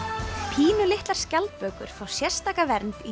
pínulitlar skjaldbökur fá sérstaka vernd í